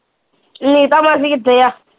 ਨੀਤਾਂ ਮਾਸੀ ਕਿੱਥੇ ਆ